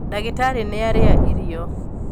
ndagītarī nīarīa irio.